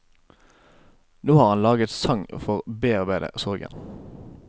Nå har han laget sang for å bearbeide sorgen.